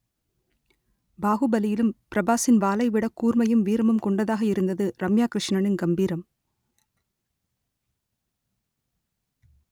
பாகுபலியிலும் பிரபாஸின் வாளைவிட கூர்மையும் வீரமும் கொண்டதாக இருந்தது ரம்யா கிருஷ்ணனின் கம்பீரம்